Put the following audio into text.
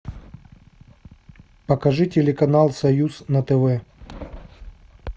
покажи телеканал союз на тв